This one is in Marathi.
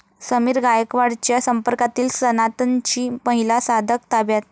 समीर गायकवाडच्या संपर्कातील सनातनची महिला साधक ताब्यात?